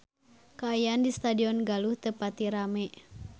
Kaayaan di Stadion Galuh teu pati rame